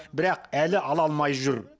бірақ әлі ала алмай жүр